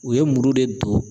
U ye muru de don